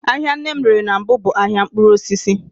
Ahịa nne m rere na mbụ bụ ahịa mkpụrụosisi